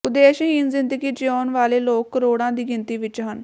ਉਦੇਸ਼ਹੀਣ ਜ਼ਿੰਦਗੀ ਜਿਊਣ ਵਾਲੇ ਲੋਕ ਕਰੋੜਾਂ ਦੀ ਗਿਣਤੀ ਵਿੱਚ ਹਨ